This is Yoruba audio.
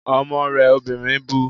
Ọmọ rẹ obìnrin bu